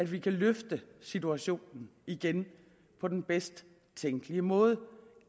vi kan løfte situationen igen på den bedst tænkelige måde